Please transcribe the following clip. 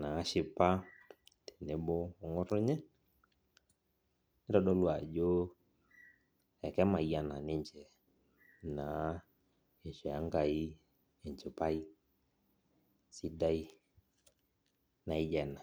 nashipa tenebo ongotonye nitadolu ajo kemayiana ninche isho enkai enchipaj sidai naijo ena.